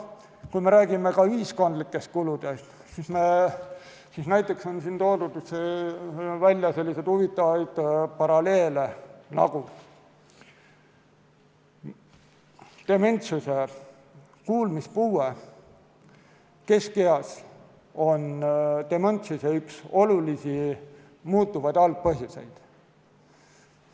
Kui me räägime ühiskondlikest kuludest, siis on toodud välja huvitavaid paralleele, et kuulmispuue keskeas on üks olulisi dementsuse muudetavaid algpõhjuseid.